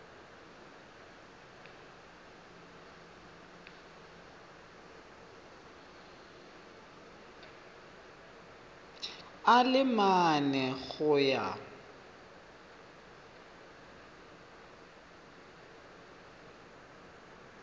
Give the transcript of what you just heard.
a le mane go ya